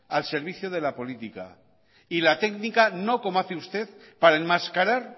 al servicio de la política y la técnica no como hace usted para enmascarar